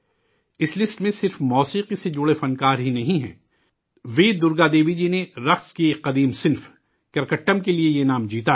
اس list میں صرف موسیقی سے جڑے فنکار ہی نہیں ہیں وی درگا دیوی جی نے رقص کی ایک قدیم شکل 'کرکٹم' کے لیے یہ انعام جیتا ہے